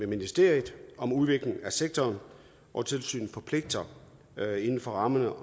ministeriet om udvikling af sektoren og tilsynet forpligtes inden for rammerne